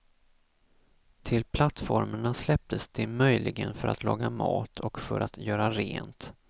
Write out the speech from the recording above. Till plattformarna släpptes de möjligen för att laga mat och för att göra rent.